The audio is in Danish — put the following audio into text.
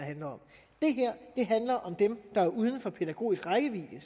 handler om dem der er uden for pædagogisk rækkevidde